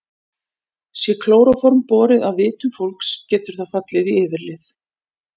Sé klóróform borið að vitum fólks getur það fallið í yfirlið.